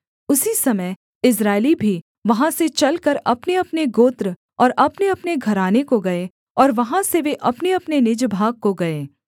उसी समय इस्राएली भी वहाँ से चलकर अपनेअपने गोत्र और अपनेअपने घराने को गए और वहाँ से वे अपनेअपने निज भाग को गए